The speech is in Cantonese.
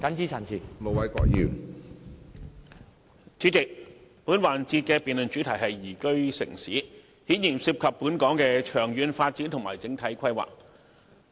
主席，本環節的辯論主題是"宜居城市"，顯然涉及本港的長遠發展及整體規劃。